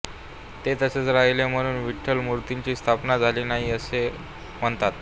ते तसेच राहिले म्हणून विठ्ठल मूर्तीची स्थापना झाली नाही असे म्हणतात